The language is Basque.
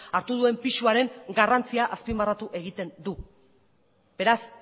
hartu duen pisuaren garrantzia azpimarratu egiten du beraz